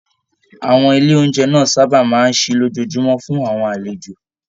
Àwọn ilé oúnjẹ náà sábà máa n sí lójoojúmọ́ fún àwọn àlejò.